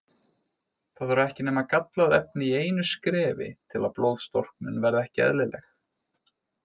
Það þarf ekki nema gallað efni í einu skrefi til að blóðstorknun verði ekki eðlileg.